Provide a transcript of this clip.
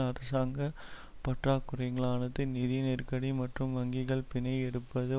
அரசாங்க பற்றாக்குறைகளானது நிதி நெருக்கடி மற்றும் வங்கிகள் பிணை எடுப்பது